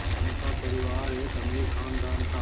उनका परिवार एक अमीर ख़ानदान था